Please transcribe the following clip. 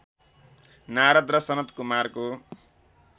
नारद र सनत्कुमारको